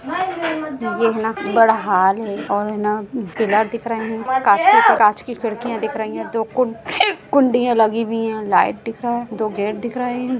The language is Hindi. यह हैना बड़ा हॉल है और हैना पिलर दिख रहे है कांच की कांच की खिड़किया दिख रही है दो कुं कुंडिया लगी हुई है लाइट दिख रहा है दो गेट दिख रहे हैं।